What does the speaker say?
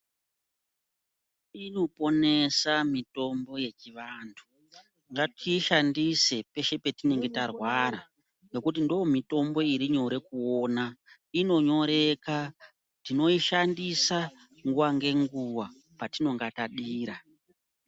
Inoponesa mitombo yechivantu ngatiishandise peshe petinenge tarwara ngekuti ndiyo mitombo iri nyore kuona. Inonyoreka ; tinoishandisa nguwa ngenguwa patinonga tadira.